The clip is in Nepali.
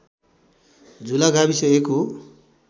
झुला गाविस एक हो